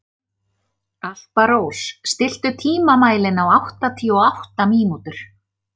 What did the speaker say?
Alparós, stilltu tímamælinn á áttatíu og átta mínútur.